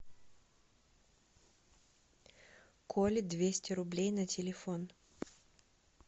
коле двести рублей на телефон